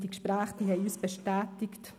Die Gespräche haben uns bestätigt: